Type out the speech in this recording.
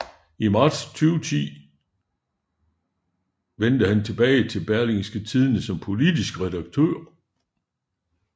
I marts 2010 vendte han tilbage til Berlingske Tidende som politisk redaktør